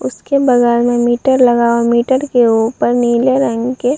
उसके बगल में मीटर लगा है। मीटर के ऊपर नीले रंग के --